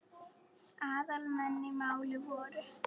Aðal menn í málinu voru